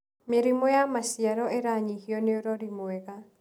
Mĩrimũ ya maciaro ĩranyihio nĩũrori mwega.